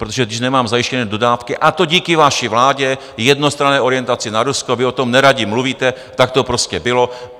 Protože když nemám zajištěné dodávky - a to díky vaší vládě, jednostranné orientaci na Rusko, vy o tom neradi mluvíte, tak to prostě bylo.